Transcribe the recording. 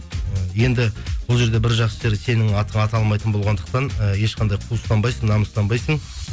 і енді бұл жерде бір жақсы жері сенің атың аталмайтын болғандықтан і ешқандай қуыстанбайсың намыстанбайсың